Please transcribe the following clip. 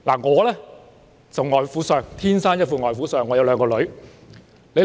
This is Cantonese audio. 我天生一副"外父相"，有兩個女兒。